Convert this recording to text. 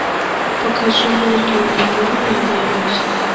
покажи мэрилин монро я боюсь